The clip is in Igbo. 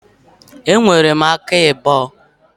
E nwere m aka abụọ.